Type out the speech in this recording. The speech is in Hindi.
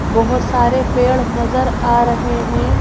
बहोत सारे पेड़ नजर आ रहे हैं।